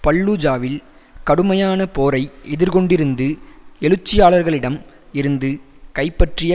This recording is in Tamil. பல்லூஜாவில் கடுமையான போரை எதிர்கொண்டிருந்து எழுச்சியாளர்களிடம் இருந்து கைப்பற்றிய